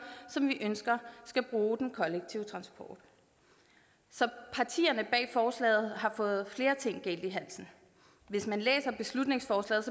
som vi ønsker skal bruge den kollektive transport så partierne bag forslaget har fået flere ting galt i halsen hvis man læser beslutningsforslaget